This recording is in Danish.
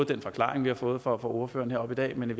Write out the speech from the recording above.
den forklaring vi har fået fra ordføreren heroppe i dag men i